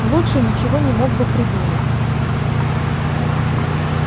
лучше ничего не мог бы придумать